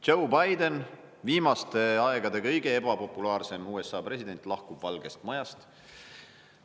Joe Biden, viimaste aegade kõige ebapopulaarsem USA president, lahkub Valgest Majast.